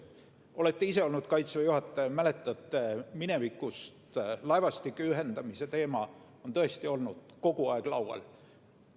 Te olete ise olnud Kaitseväe juhataja, mäletate minevikust, et laevastike ühendamise teema on tõesti olnud kogu aeg laual.